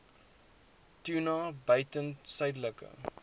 tuna buiten suidelike